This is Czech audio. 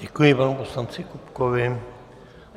Děkuji panu poslanci Kupkovi.